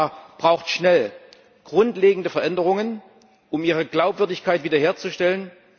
Die FIFA braucht schnell grundlegende Veränderungen, um ihre Glaubwürdigkeit wieder herzustellen.